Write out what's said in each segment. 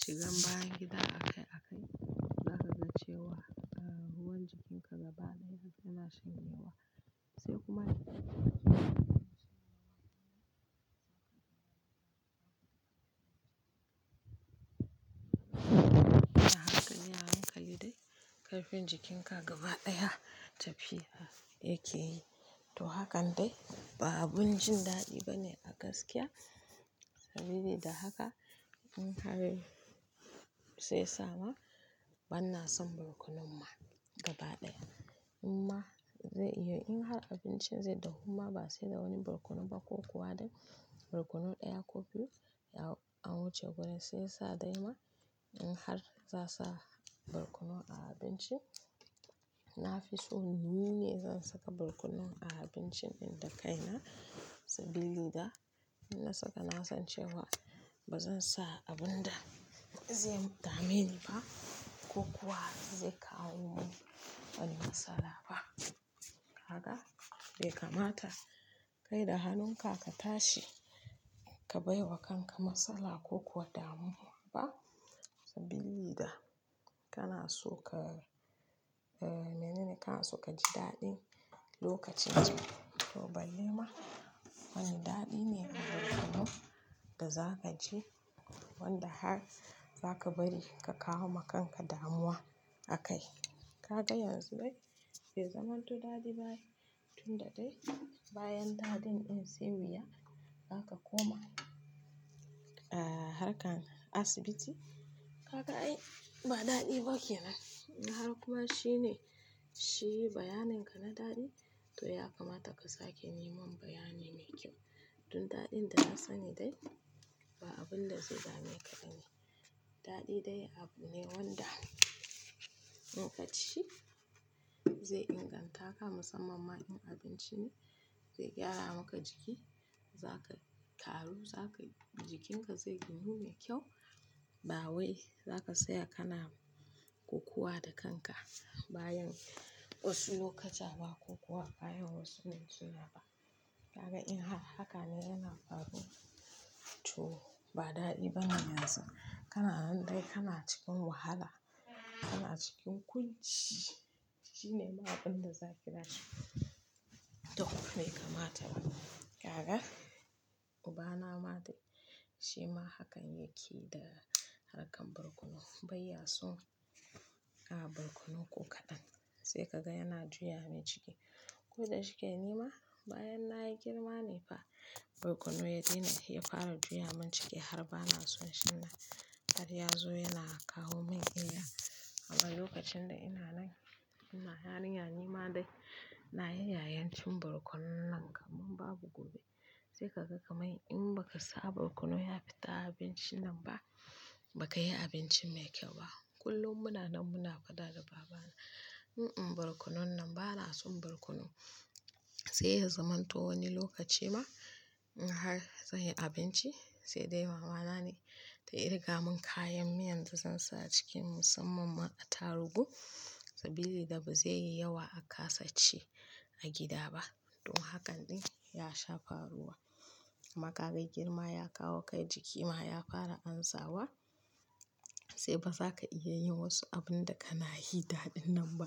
Shigan bayi gida aka, aka kasan cewa, ruwan jikinka gaba ɗaya yana shanyewa. Sai kuma haka ne harun ka liɗai ƙarfin jikinka gaba ɗaya tafiya yake yi. To haka dai ba abun jin daɗi ba ne a gaskiya. Saboda da haka in har sai sama bana son barkonon ma gaba ɗaya. Amma zai iya in har abincin zai dahu ma ba sai da wani barkonon ba ko kuwa dai barkonon ɗaya ko biyu ya wuce gurin sai sa dai ma in har za sa barkonon a abinci. Na fi so ni ne zan saka barkonon a abincin ɗin da kaina saboda da in na saka na san cewa ba zan sa abun da zai dameni ba ko kuwa zai kawo min wani matsala ba. Haka ya kamata kai da hannunka ka tashi ka baiwa kanka matsala ko kuwa damuwa ba saboda da kana so ka, mene ne? Kana so ka ji daɗi lokacin ci. To balle ma wani daɗi ne barkonon da za ka ji wanda har za ka bari ka kawo ma kanka damuwa akai. Kaga yanzu dai bai zamanto daɗi ba tunda dai bayan daɗin in sai wuya aka koma, ah, harkan asibiti. Kaga ai ba daɗi ba kenan. Haka kuma shine, shi bayanin ka na daɗi. To ya kamata ka sake yi mun bayani mai kyau. Tun daɗin da na sani dai ba abin da zai dame ka bane. Daɗi dai abu ne wanda in ka ci zai inganta ka musamman ma in abinci ne zai gyara maka jiki. Za ka karu, za ka jikinka zai ginu mai kyau. Ba wai za ka tsaya kana ko kuwa da kanka bayan wasu lokuta ba ko kuwa bayan wasu nutsuwa ba. Kaga in har haka ne yana faruwa to ba daɗi bane yanzu. Kana nan dai kana cikin wahala, kana cikin kunci. Shi ne ma abin da za ki gani. To haka ya kamata. Kaga ubana ma dai shi ma hakan yake yi da harkan barkonon. Bai ya so a barkonon ko kaɗan sai ka ga yana juye abin ciki. Ko da shike nima bayan nayi girma ne fa barkonon ya daina, ya fara juyamin ciki har ba na son shi na. Har ya zo yana kawo min illa. Amma lokacin da ina nan, ina ha yarinya dai nima da nayi yayin cin barkonon nan kamar babu gobe. Sai ka ga kamar in ba ka sa barkonon ya fita a abinci nan ba, ba ka yi abinci mai kyau ba. Kullum muna nan muna faɗa da babana. "In, in barkonon nan bana son barkonon." Sai ya zamanto wani lokaci ma in har zai yi abinci sai dai mama na ne ta kirga mun kayan miyan da zan sa a ciki musamman ma attaruhu saboda ba zai yi yawa aka saci a gida ba. To hakan dai ya sha faruwa. Maka kai girma ya kawo kai jiki ma ya fara amsawa. Sai ba za ka iya yin wasu abun da kana yi da ɗin nan ba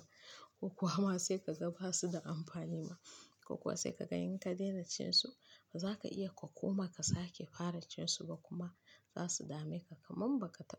ko kuwa ma sai ka ga ba su da amfani ba ko kuwa sai ka ga in ka daina cin su ba za ka iya ka koma ka sake fara cin su ba kuma za su dame ka kamar baka taɓa.